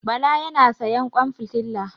Bala ya na sayan ƙwan fitila.